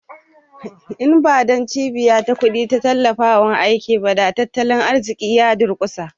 In ba don cibiya ta kuɗi da ta tallafawa aikin ba, da tattalin arzikin ya durƙushe